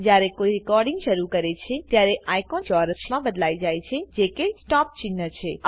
જયારે કોઈ રેકોર્ડીંગ શરુ કરે છેત્યારે આઇકોન ચોરસમાં બદલાઈ જાય છે જે કે સ્ટોપ ચિન્હ છે